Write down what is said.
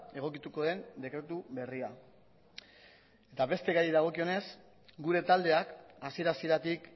egokituko den dekretu berria eta beste gaiei dagokionez gure taldeak hasiera hasieratik